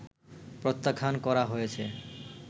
প্রত্যাখ্যান করা হয়েছে